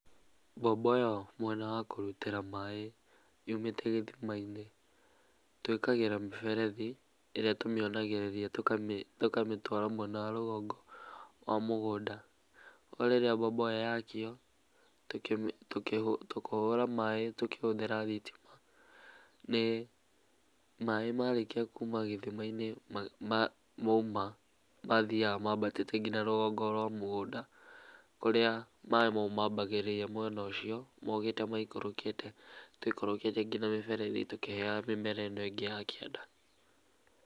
Mbombo ĩyo mwena wa kũrutĩra maaĩ yũmĩte gĩthimainĩ twĩkagĩra mĩberethi, ĩrĩa tũmĩonagĩrĩria tũkamĩtwara mwena wa rũgongo wa mũgũnda, koguo rĩrĩa mbombo ĩyo yakio, kũhũra maaĩ tũkĩhũthĩra thitima, maaĩ marĩkia kuma gĩthimainĩ mauma mathiaga mabatĩte nginya rũgongo rwa mũgũnda, kũria maaĩ mau mambagĩrĩria mwena ũcio mokĩte maikũrũkĩte tũikũrũkĩtie nginya mĩberethi tũkĩheaga mĩmera ĩno ĩngĩ ya kĩanda.